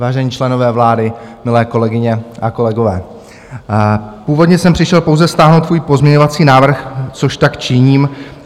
Vážení členové vlády, milé kolegyně a kolegové, původně jsem přišel pouze stáhnout svůj pozměňovací návrh, což tak činím.